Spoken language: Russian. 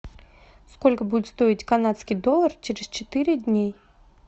сколько будет стоить канадский доллар через четыре дня